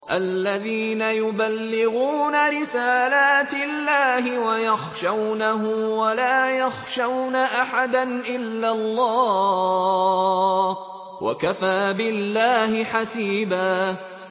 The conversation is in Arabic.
الَّذِينَ يُبَلِّغُونَ رِسَالَاتِ اللَّهِ وَيَخْشَوْنَهُ وَلَا يَخْشَوْنَ أَحَدًا إِلَّا اللَّهَ ۗ وَكَفَىٰ بِاللَّهِ حَسِيبًا